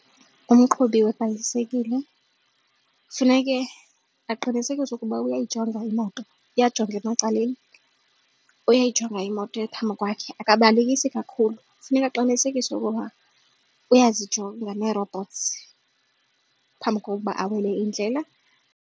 Umqhubi webhayisikile funeke aqinisekise ukuba uyayijonga imoto, uyajonga emacaleni, uyayijonga imoto phambi kwakhe akabalekisi kakhulu funeka aqinisekise ukuba uyozijonga nee-robots phambi kokuba awele indlela.